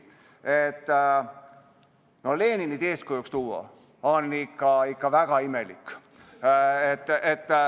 Leninit eeskujuks tuua on ikka väga imelik.